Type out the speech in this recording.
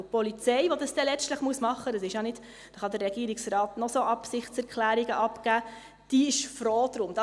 Die Polizei, die das dann letztlich tun muss – da kann der Regierungsrat noch so viele Absichtserklärungen abgeben –, diese ist froh darum.